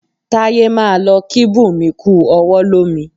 Táyé máa lọ kí Bunmi kú ọwọ́ lomi